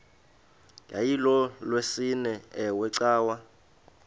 yayilolwesine iwe cawa